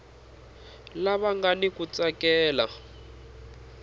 lava nga ni ku tsakela